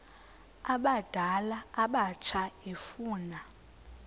abadala abatsha efuna